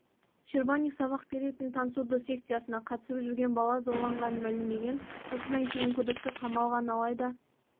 щербаник сабақ беретін тансудо секциясына қатысып жүрген бала зорланғанын мәлімдеген осыдан кейін күдікті қамалған алайда